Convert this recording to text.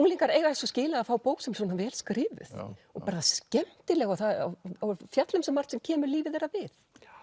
unglingar eiga svo skilið að fá bók sem er svona vel skrifuð og bara skemmtileg og fjallar um svo margt sem kemur lífi þeirra við